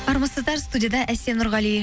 армысыздар студияда әсем нұрғали